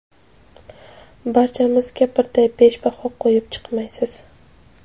Barchamizga birday besh baho qo‘yib chiqmaysiz?!.